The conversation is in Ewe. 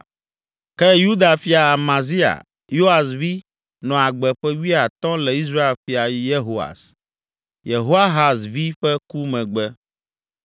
Ke Yuda fia Amazia, Yoas vi, nɔ agbe ƒe wuiatɔ̃ le Israel fia Yehoas, Yehoahaz vi ƒe ku megbe.